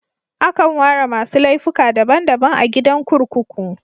Akan ware masu laifuka daban daban a gidan kurkuku.